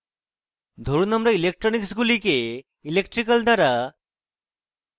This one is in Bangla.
ধরুন আমরা electronics গুলিকে electrical দ্বারা